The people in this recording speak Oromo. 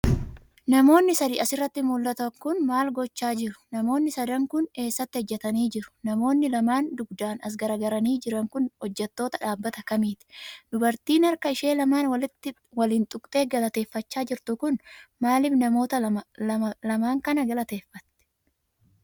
Namoonni sadi as irratti mul'atan kun, maal gochaa jiru? Namoonni sadan kun ,eessa ijjatanii jru? Namoonni lamaan dugdaan as garagaranii jiran kun ,hojjattoota dhaabbata kamiiti? Dubartiinharka ishee lamaan waliin tuqxee galateeffachaa jirtu kun, maalif namoota lamaan kana galateeffatti?